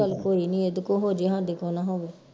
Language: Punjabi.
ਚੱਲ ਕੋਈ ਨੀ ਇਹਦੇ ਕੋ ਹੋ ਜੇ ਹਾਡੇ ਕੋ ਨਾ ਹੋਵੇ